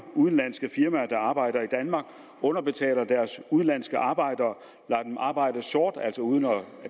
udenlandske firmaer der arbejder i danmark underbetaler deres udenlandske arbejdere lader dem arbejde sort altså uden at